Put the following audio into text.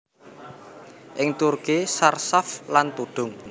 Ing Turki charshaf lan tudung